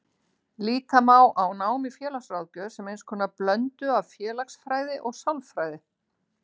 Líta má á nám í félagsráðgjöf sem eins konar blöndu af félagsfræði og sálfræði.